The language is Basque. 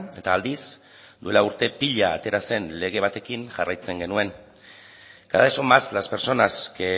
eta aldiz duela urte pila atera zen lege batekin jarraitzen genuen cada vez son más las personas que